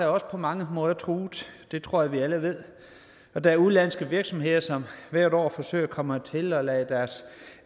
også på mange måder truet det tror jeg vi alle ved og der er udenlandske virksomheder som hvert år forsøger at komme hertil og lader deres